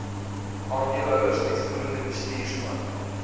aandeelhouers uitvoerende bestuurspan